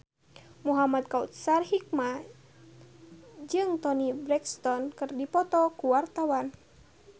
Muhamad Kautsar Hikmat jeung Toni Brexton keur dipoto ku wartawan